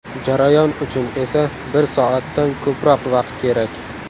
Jarayon uchun esa bir soatdan ko‘proq vaqt kerak.